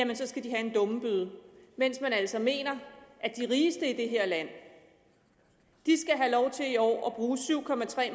det skal de have en dummebøde mens man altså mener at de rigeste i det her land skal have lov til i år at bruge syv